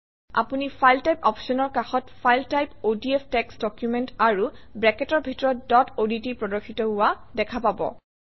আপুনি file type অপশ্যনৰ কাষত file type ODF text document আৰু ব্ৰেকেটৰ ভিতৰত ডট অডট প্ৰদৰ্শিত হোৱা দেখা পাব